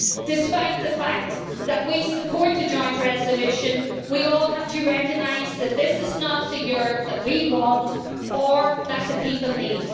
Despite the fact that we support the joint resolution, we all have to recognise that this is not the Europe we want, or that the people need.